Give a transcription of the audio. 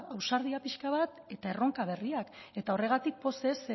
ausardia pixka bat eta erronka berriak horregatik pozez